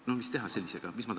No mis teha sellisega?